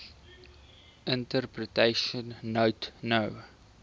interpretation note no